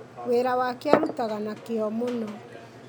wĩra wake arutaga na kĩyo mũno.